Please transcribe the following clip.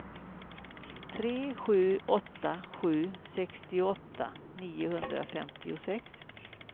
tre sju åtta sju sextioåtta niohundrafemtiosex